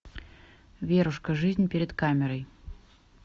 верушка жизнь перед камерой